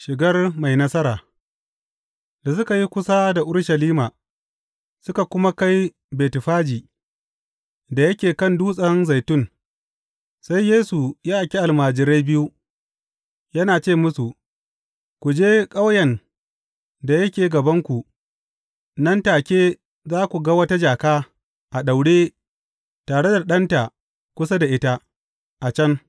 Shigar mai nasara Da suka yi kusa da Urushalima suka kuma kai Betfaji da yake kan Dutsen Zaitun, sai Yesu ya aiki almajirai biyu, yana ce musu, Ku je ƙauyen da yake gabanku, nan take za ku ga wata jaka a daure tare da ɗanta kusa da ita, a can.